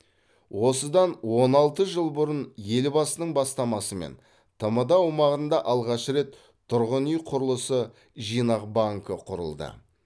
осыдан он алты жыл бұрын елбасының бастамасымен тмд аумағында алғаш рет тұрғын үй құрылысы жинақ банкі құрылды